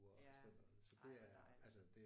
Ja ej hvor dejligt